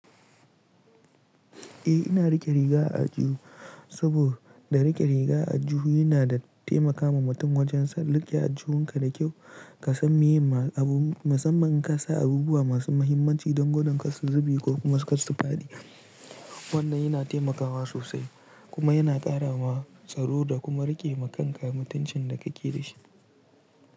Eh ina riƙe riga a ajiye saboda da riƙe riga a jiya yana taimakawa mutum wajen san riƙe ajujuwan ka da kyau ka san meye ma masamma kasa abubuwa masu muhimmanci don godan ka su zube ko kuma su faɗi. Wannan yana taimakawa sosai kuma yana ƙarawa tsaro da kuma riƙe ma kanka mutuncin da kake da shi.